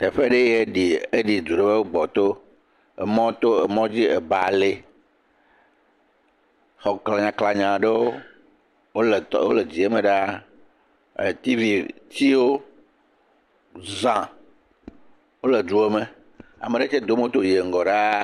Teƒee yɛ ɖi, eɖi du aɖe wo gbɔto. Emɔto, emɔdzi. Eba le. Xɔ klanyaklanya aɖewo wole tɔ, wole dziɛme ɖaa. E tivitsiwo zã, wole duɔ me. Ame aɖe tsɛ do moto yiɛ ŋgɔ ɖaa.